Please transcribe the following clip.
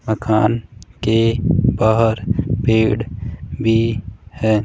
मकान के बाहर पेड़ भी हैं।